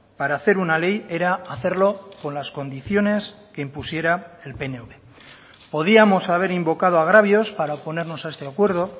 para hacer una ley era hacerlo con las condiciones que impusiera el pnv podíamos haber invocado agravios para oponernos a este acuerdo